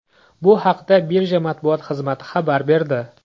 Bu haqda Birja matbuot xizmati xabar berdi .